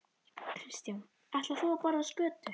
Kristján: Ætlar þú að borða skötu?